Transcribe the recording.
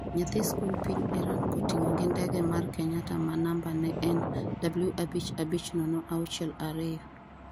nyathi sikund piny Iran kotigo gi ndege mar Kenyatta ma namba ne en W abich abich nono auchiel ariyo